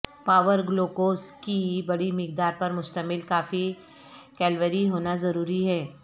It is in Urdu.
پاور گلوکوز کی بڑی مقدار پر مشتمل کافی کیلوری ہونا ضروری ہے